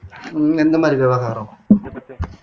எந்த மாதிரி விவகாரம்